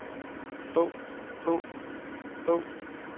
bog bog bog